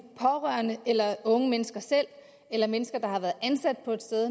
pårørende eller unge mennesker selv eller mennesker der har været ansat på et sted